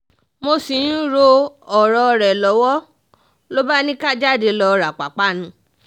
mo ṣì ń ro ọ̀rọ̀ rẹ̀ lọ́wọ́ ló bá ní ká jáde lọ́ọ ra ìpápánu